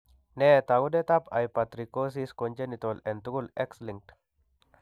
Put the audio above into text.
Nee taakunetaab Hypertrichosis congenital en tugul X linked?